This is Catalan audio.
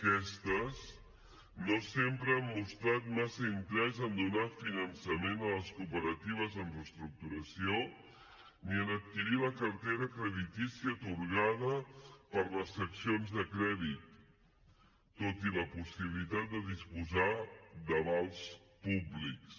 aquestes no sempre han mostrat massa interès en donar finançament a les cooperatives en reestructuració ni en adquirir la cartera creditícia atorgada per les seccions de crèdit tot i la possibilitat de disposar d’avals públics